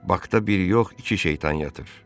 Bakda biri yox, iki şeytan yatır.